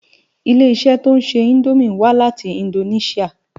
Ilé-iṣè tó nṣé Indómi wá láti Indóniṣiá